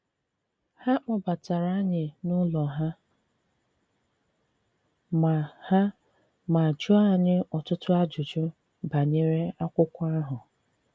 Ha kpọbatara anyị n’ụlọ ha ma ha ma jụọ anyị ọtụtụ ajụjụ banyere akwụkwo ahụ